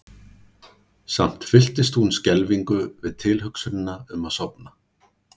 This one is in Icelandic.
Samt fylltist hún skelfingu við tilhugsunina um að sofna.